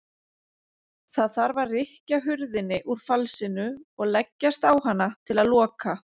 Það þarf að rykkja hurðinni úr falsinu og leggjast á hana til að loka.